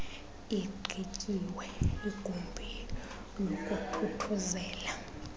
igqityiwe igumbi lokuthuthuzela